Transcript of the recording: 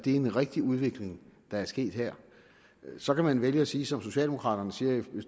en rigtig udvikling der er sket her så kan man vælge at sige som socialdemokraterne siger i